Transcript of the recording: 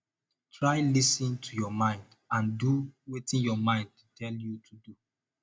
try lis ten to your mind and do wetin your mind tell you to do